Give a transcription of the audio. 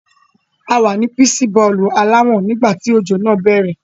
A wà ní píìṣì bọ́ọ̀lù aláwọ̀n nígbà tí òjò náà bẹ̀rẹ̀.